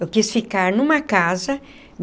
Eu quis ficar numa casa.